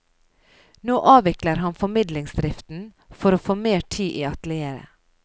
Nå avvikler han formidlingsdriften for å få mer tid i atelieret.